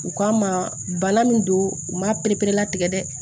U k'a ma bana min don u ma pereperelatigɛ dɛ